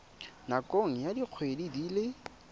nakong ya dikgwedi di le